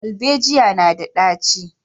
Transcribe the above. Darbejiya na da ɗaci